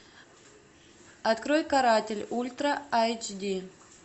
открой каратель ультра айч ди